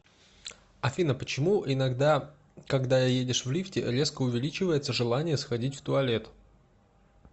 афина почему иногда когда едешь в лифте резко увеличивается желание сходить в туалет